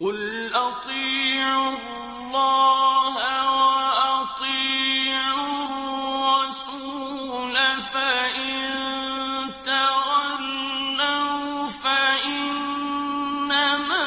قُلْ أَطِيعُوا اللَّهَ وَأَطِيعُوا الرَّسُولَ ۖ فَإِن تَوَلَّوْا فَإِنَّمَا